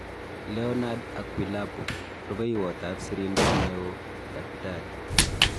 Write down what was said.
Leornard Akwilapo. Rupeiywot ap Sirindeet neoo-Dkt